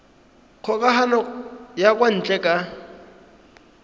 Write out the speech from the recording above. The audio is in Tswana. kgokagano ya kwa ntle ka